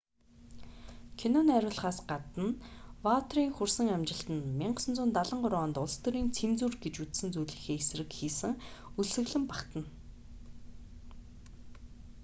кино найруулахаас гадна ваутиерийн хүрсэн амжилтанд 1973 онд улс төрийн цензур гэж үзсэн зүйлийнхээ эсрэг хийсэн өлсгөлөн багтана